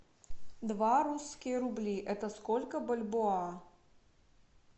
два русских рубля это сколько бальбоа